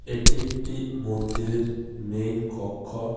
এটি একটি মন্দিরের মেইন কক্ষ .